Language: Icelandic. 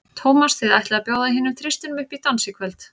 Tómas, þið ætlið að bjóða hinum þristinum upp í dans í kvöld?